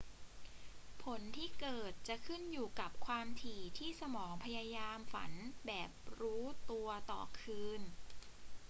ผลที่เกิดจะขึ้นอยู่กับความถี่ที่สมองพยายามฝันแบบรู้ตัวต่อคืน